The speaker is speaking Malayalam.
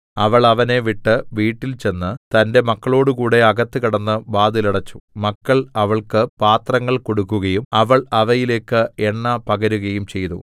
അവൾ അവനെ വിട്ട് വീട്ടിൽചെന്ന് തന്റെ മക്കളോടുകൂടെ അകത്ത് കടന്ന് വാതിൽ അടച്ചു മക്കൾ അവൾക്ക് പാത്രങ്ങൾ കൊടുക്കുകയും അവൾ അവയിലേക്ക് എണ്ണ പകരുകയും ചെയ്തു